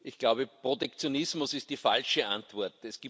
Ich glaube, Protektionismus ist die falsche Antwort.